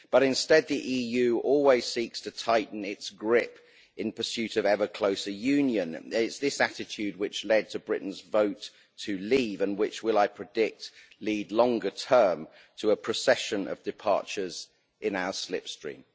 But instead the EU always seeks to tighten its grip in pursuit of ever closer union. It's this attitude which led to Britain's vote to leave and which will, I predict, lead longer term to a procession of departures in our slipstream.